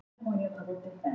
Það er á